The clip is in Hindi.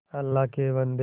अल्लाह के बन्दे